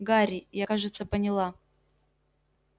гарри я кажется поняла